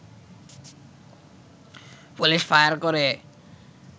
police fire করে